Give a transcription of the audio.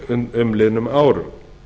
á umliðnum árum